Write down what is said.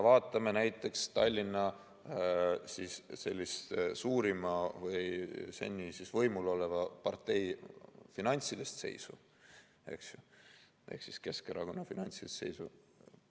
Vaatame näiteks Tallinna suurima või seni võimul oleva partei finantsilist seisu ehk Keskerakonna finantsseisu.